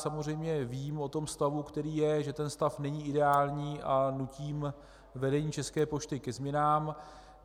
Samozřejmě vím o tom stavu, který je, že ten stav není ideální, a nutím vedení České pošty ke změnám.